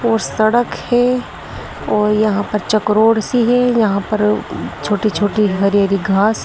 और सड़क है और यहां पर चकरोड सी है। यहां पर छोटी छोटी हरी हरी घास --